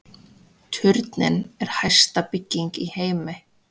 Turninn er hæsta bygging í heimi